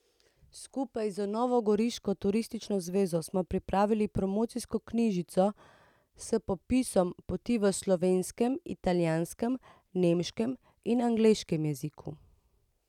Skupaj z novogoriško turistično zvezo smo pripravili promocijsko knjižico s popisom poti v slovenskem, italijanskem, nemškem in angleškem jeziku.